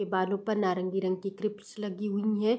के बालो पर नारंगी कलर की क्रिप्स लगी हुई हैं।